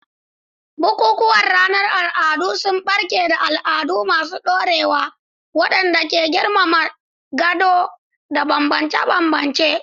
Bukukuwan ranar al'adu sun barke da al'adu masu ɗorewa waɗanda ke girmama gado da bambance-bambance.